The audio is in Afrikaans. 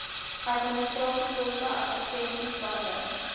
administrasiekoste advertensies bande